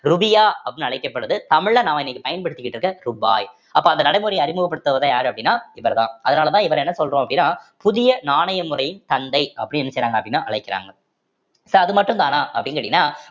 ரூபியா அப்படின்னு அழைக்கப்படுது தமிழ்ல நாம இன்னைக்கு பயன்படுத்திட்டு இருக்க ரூபாய் அப்ப அந்த நடைமுறையை அறிமுகப்படுத்துருவர் தான் யாரு அப்படின்னா இவர்தான் அதனாலதான் இவர் என்ன சொல்றோம் அப்படின்னா புதிய நாணய முறையின் தந்தை அப்படின்னு என்ன செய்யறாங்க அப்படின்னா அழைக்கிறாங்க so அது மட்டும்தானா அப்படின்னு கேட்டீங்கன்னா